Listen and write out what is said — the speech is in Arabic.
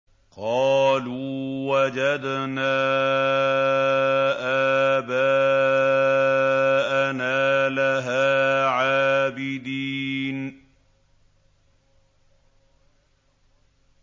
قَالُوا وَجَدْنَا آبَاءَنَا لَهَا عَابِدِينَ